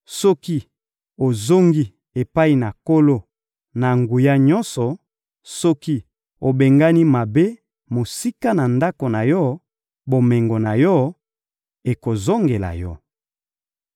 Soki ozongi epai na Nkolo-Na-Nguya-Nyonso, soki obengani mabe mosika ya ndako na yo, bomengo na yo ekozongela yo.